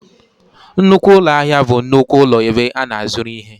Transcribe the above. Nnukwu ụlọ ahịa bụ nnukwu ụlọ ebe a na-azụrụ ihe